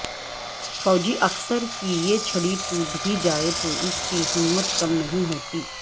فوجی افسر کی یہ چھڑی ٹوٹ بھی جائے تو اس کی اہمیت کم نہیں ہوتی